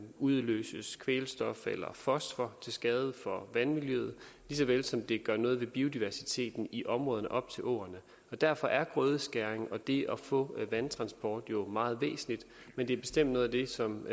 udløses kvælstof eller fosfor til skade for vandmiljøet lige så vel som det gør noget ved biodiversiteten i områderne op til åerne derfor er grødeskæring og det at få vandtransport jo meget væsentligt men det er bestemt noget af det som